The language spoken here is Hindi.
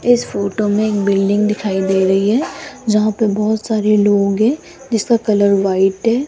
इस फोटो में एक बिल्डिंग दिखाई दे रही है जहां पे बहुत सारे लोग हैं जिसका कलर व्हाइट है।